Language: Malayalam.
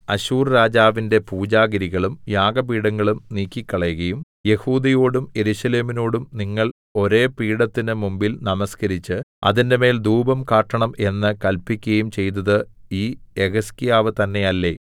അശൂർരാജാവിന്റെ പൂജാഗിരികളും യാഗപീഠങ്ങളും നീക്കിക്കളകയും യെഹൂദയോടും യെരൂശലേമിനോടും നിങ്ങൾ ഒരേ പീഠത്തിന് മുമ്പിൽ നമസ്കരിച്ച് അതിന്മേൽ ധൂപം കാട്ടണം എന്ന് കല്പിക്കയും ചെയ്തത് ഈ യെഹിസ്കീയാവ് തന്നെയല്ലെ